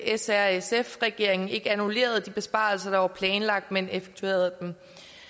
s r sf regeringen ikke annullerede de besparelser der var planlagt men effektuerede dem